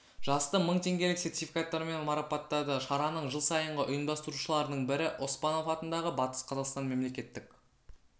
жасты мың теңгелік сертификаттармен марапаттады шараның жыл сайынғы ұйымдастырушыларының бірі оспанов атындағы батыс қазақстан мемлекеттік